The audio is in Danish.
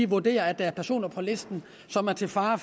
vurderer at der er personer på listen som er til fare